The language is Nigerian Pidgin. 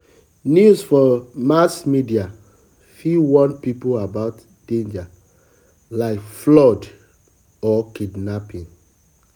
news for mass media fit warn people about danger like flood um or kidnapping.